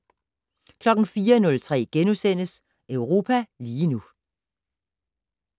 04:03: Europa lige nu *